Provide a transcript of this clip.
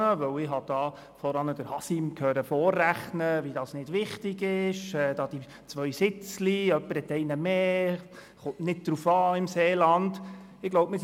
Ich habe gehört, wie Haşim Sancars vorrechnete, um zu zeigen, dass das nicht wichtig sei im Sinne von: diese beiden «Sitzli», einer hat einen mehr, es komme im Seeland nicht darauf an.